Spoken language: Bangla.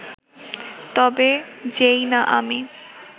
তবে যেই না আমি